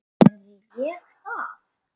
Gerði ég það?